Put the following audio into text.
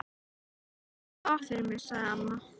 Æ rífðu þá af fyrir mig sagði amma.